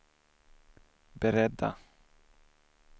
beredda